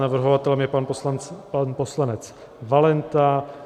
Navrhovatelem je pan poslanec Valenta.